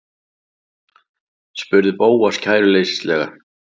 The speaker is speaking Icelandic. spurði Bóas kæruleysislega.